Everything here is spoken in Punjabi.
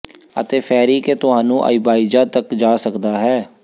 ਅਤੇ ਫੈਰੀ ਕੇ ਤੁਹਾਨੂੰ ਆਇਬਾਇਜ਼ਾ ਤੱਕ ਜਾ ਸਕਦਾ ਹੈ